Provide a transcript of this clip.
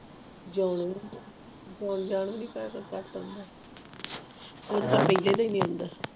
ਜਾਣਾ ਨਹੀਂ ਆਉਣ ਜਾਨ ਵੀ ਨਹੀਂ ਕੋਈ ਕਰਦਾ